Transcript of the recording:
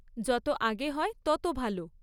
যত আগে হয় তত ভালো।